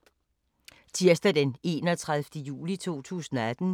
Tirsdag d. 31. juli 2018